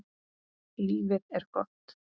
Lífið er gott.